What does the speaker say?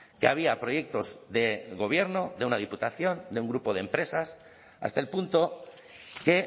que había proyectos de gobierno de una diputación de un grupo de empresas hasta el punto que